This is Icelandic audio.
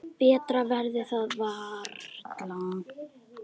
Betra verður það varla.